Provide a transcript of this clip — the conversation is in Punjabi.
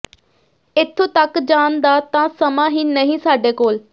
ਇਥੋਂ ਤੱਕ ਜਾਣ ਦਾ ਤਾਂ ਸਮਾਂ ਹੀ ਨਹੀਂ ਸਾਡੇ ਕੋਲ